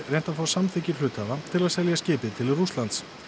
reynt að fá samþykki hluthafa til að selja skipið til Rússa